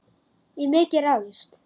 Í mikið ráðist